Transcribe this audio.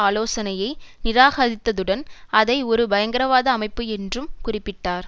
ஆலோசனையை நிராகரித்துடன் அதை ஒரு பயங்கரவாத அமைப்பு என்றும் குறிப்பிட்டார்